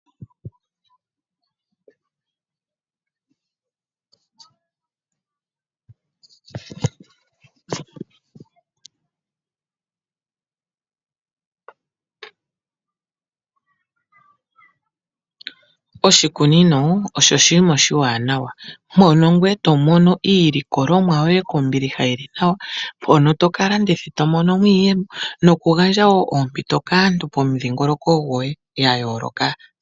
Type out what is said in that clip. Iimeno oyindji ohayi kunwa moofola dhawo , opo yi vule okwiipa ompito ngele tayi koko .